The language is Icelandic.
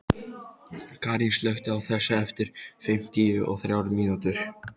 Karín, slökktu á þessu eftir fimmtíu og þrjár mínútur.